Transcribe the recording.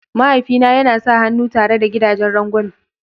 Mahaifi na yana sa hannu tare da gidagen rangwame.